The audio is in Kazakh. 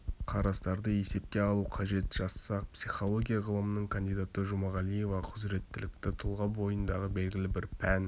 қарастарды есепке алу қажет жазса психология ғылымының кандидаты жұмағалиева құзыреттілікті тұлға бойындағы белгілі бір пән